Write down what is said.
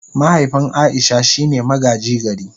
Mahaifin Aisha shine magaji gari.